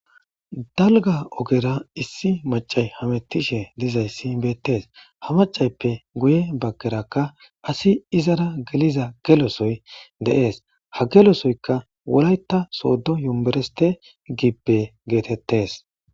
Dalga ogera issi macay hamettishe dizayssi beettes ha macayppe guye baggerakka asi izara geliza gelosoy de7ees ha gelosoyka wolayta soodo yuereste gippe geetettes.